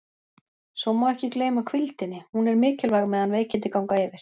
Svo má ekki gleyma hvíldinni, hún er mikilvæg meðan veikindi ganga yfir.